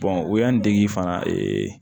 o y'an dege fana